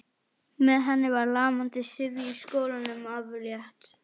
Með henni var lamandi syfju í skólanum aflétt.